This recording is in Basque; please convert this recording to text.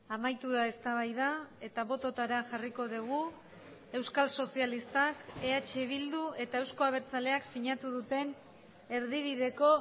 amaitu da eztabaida eta bototara jarriko dugu euskal sozialistak eh bildu eta euzko abertzaleak sinatu duten erdibideko